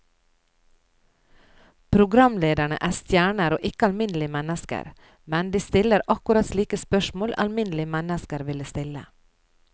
Programlederne er stjerner og ikke alminnelige mennesker, men de stiller akkurat slike spørsmål alminnelige mennesker ville stille.